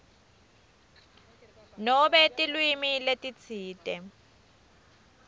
nobe tilwimi letitsite